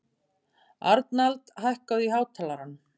Arnald, hækkaðu í hátalaranum.